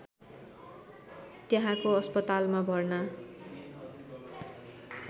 त्यहाँको अस्पतालमा भर्ना